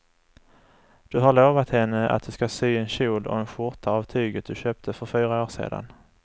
Du har lovat henne att du ska sy en kjol och skjorta av tyget du köpte för fyra år sedan.